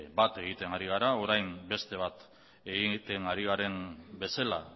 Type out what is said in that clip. bat egiten ari gara orain beste bat egiten ari garen bezala